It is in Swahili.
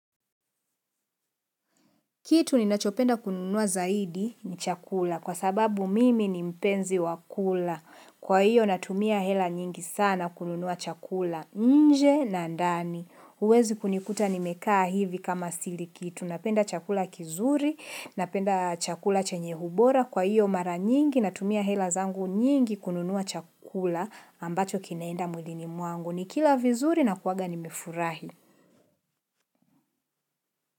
Kitu ni nachopenda kununua zaidi ni chakula kwa sababu mimi ni mpenzi wakula. Kwa hiyo natumia hela nyingi sana kununua chakula nje na ndani. Huwezi kunikuta nimekaa hivi kama siliki. Tunapenda chakula kizuri, napenda chakula chenyeubora. Kwa hiyo mara nyingi natumia hela zangu nyingi kununua chakula ambacho kinaenda mwlini mwangu. Nikila vizuri na kuwaga nimefurahi.